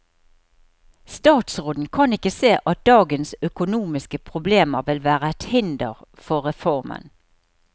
Statsråden kan ikke se at dagens økonomiske problemer vil være et hinder for reformen.